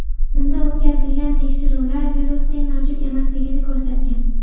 Unda o‘tkazilgan tekshiruvlar virusning mavjud emasligini ko‘rsatgan.